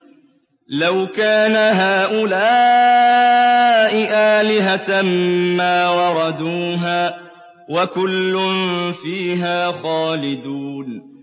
لَوْ كَانَ هَٰؤُلَاءِ آلِهَةً مَّا وَرَدُوهَا ۖ وَكُلٌّ فِيهَا خَالِدُونَ